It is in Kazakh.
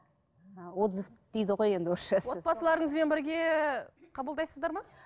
ы отзыв дейді ғой енді орысшасы отбасыларыңызбен бірге қабылдайсыздар ма